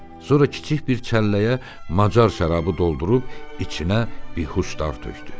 Sonra kiçik bir çəlləyə macar şərabı doldurub içinə bihuşdar tökdü.